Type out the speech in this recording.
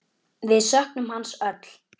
Við söknum hans öll.